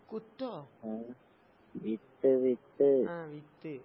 കുത്തോ? ആഹ് വിത്ത്.